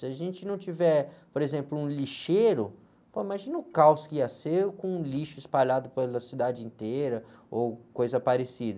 Se a gente não tiver, por exemplo, um lixeiro, pô, imagina o caos que ia ser com lixo espalhado pela cidade inteira ou coisa parecida.